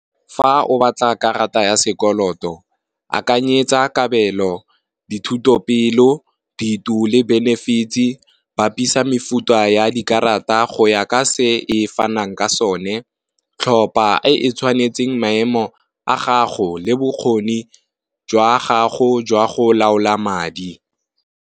Fa o batla karata ya sekoloto, akanyetsa kabelo, dithuto, pelo, le benefits bapisa mefuta ya dikarata go ya ka se e fanang ka sone, tlhopha e tshwanetseng maemo a gago le bokgone jwa gago jwa go laola madi.